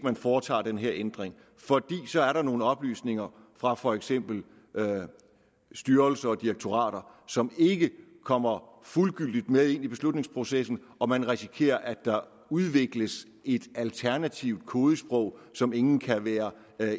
foretager den her ændring fordi der så er nogle oplysninger fra for eksempel styrelser og direktorater som ikke kommer fuldgyldigt med ind i beslutningsprocessen og man risikerer at der udvikles et alternativt kodesprog som ingen kan være